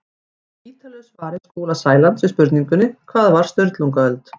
Í ítarlegu svari Skúla Sælands við spurningunni Hvað var Sturlungaöld?